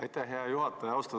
Aitäh, hea juhataja!